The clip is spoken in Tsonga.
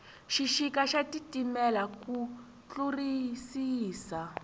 xixika xa titimela ku tlurisisa